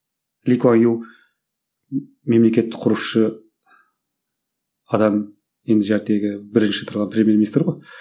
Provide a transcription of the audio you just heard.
ли куа ю мемлекетті құрушы адам енді бірінші тұрған премьер министр ғой